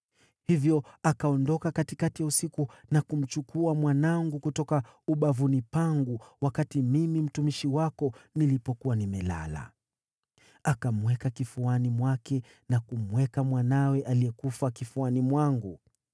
Hivyo akaondoka katikati ya usiku na kumchukua mwanangu kutoka ubavuni pangu wakati mimi mtumishi wako nilipokuwa nimelala. Akamweka kifuani mwake na kumweka mwanawe aliyekufa kifuani mwangu.